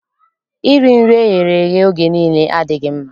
Iri nri eghere eghe oge niile adịghị mma.